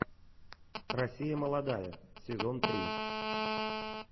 россия молодая сезон три